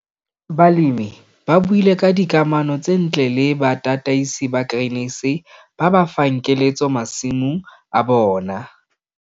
Balemi ba buile ka dikamano tse ntle le batataisi ba Grain SA ba ba fang keletso masimong a bona.